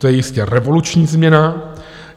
To je jistě revoluční změna.